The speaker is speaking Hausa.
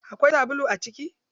Akwai sabulu a ciki?